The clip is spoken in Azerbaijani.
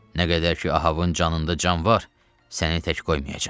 Nə qədər ki Ahabın canında can var, səni tək qoymayacam.